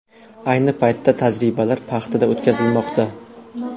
Ayni paytda tajribalar paxtada o‘tkazilmoqda.